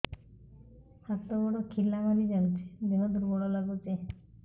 ହାତ ଗୋଡ ଖିଲା ମାରିଯାଉଛି ଦେହ ଦୁର୍ବଳ ଲାଗୁଚି